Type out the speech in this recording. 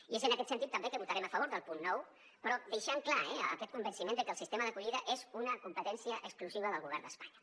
i és en aquest sentit també que votarem a favor del punt nou però deixant clar aquest convenciment de que el sistema d’acollida és una competència exclusiva del govern d’espanya